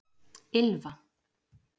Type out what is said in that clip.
Ylfa